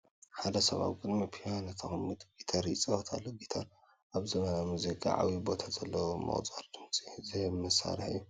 ሓደ ሰብ ኣብ ቅድሚ ፒያኖ ተቐሚጡ ጊታር ይፃወት ኣሎ፡፡ ጊታር ኣብ ዘመናዊ ሙዚቃ ዓብዪ ቦታ ዘለዎ ምቁር ድምፂ ዝህብ መሳርሒ እዩ፡፡